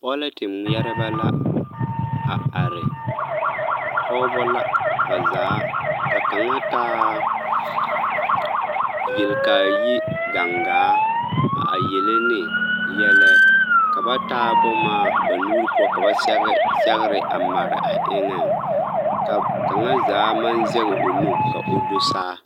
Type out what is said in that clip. Pɔlɛte ŋmeɛrebɛ la a are, Pɔgebɔ la ba zaa, ka kaŋa taa yelkaayi gaŋgaa a yele ne yɛlɛ ka ba taa boma ba nuuri poɔ ka ba sɛge sɛgere a mare a eŋɛŋ ka kaŋa zaa maŋ zɛge o nu ka o do saa.